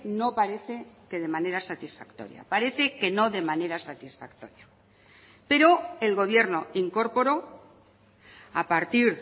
no parece que de manera satisfactoria parece que no de manera satisfactoria pero el gobierno incorporó a partir